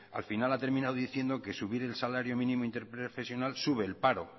al final ha terminado diciendo que subir el salario mínimo interprofesional sube el paro